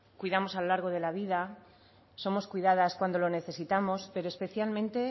cuidamos a lo largo de la vida somos cuidadas cuando lo necesitamos pero especialmente